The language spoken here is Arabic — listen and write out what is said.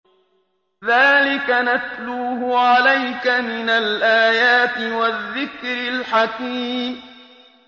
ذَٰلِكَ نَتْلُوهُ عَلَيْكَ مِنَ الْآيَاتِ وَالذِّكْرِ الْحَكِيمِ